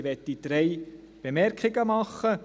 Ich möchte drei Bemerkungen machen;